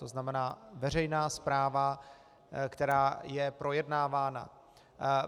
To znamená veřejná zpráva, která je projednávána.